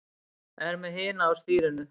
Er með hina á stýrinu.